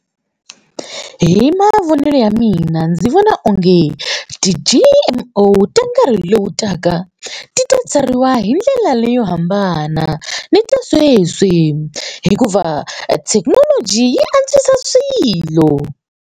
Hi mavonelo ya mina ndzi vona onge ti-G_M_O ta nkarhi lowu taka ti ta tsariwa hi ndlela leyo hambana ni ta sweswi hikuva thekinoloji yi antswisa swilo.